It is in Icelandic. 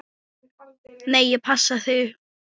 Nei, ég passa mig.